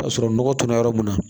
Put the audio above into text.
Ka sɔrɔ nɔgɔ tora yɔrɔ mun na